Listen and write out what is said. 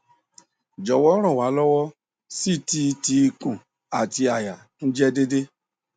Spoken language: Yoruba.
jọwọ ran wa lọwọ ct ti ikun ati àyà tun jẹ deede